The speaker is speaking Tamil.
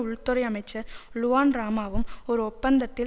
உள்துறை அமைச்சர் லுவான் ராமாவும் ஒரு ஒப்பந்தத்தில்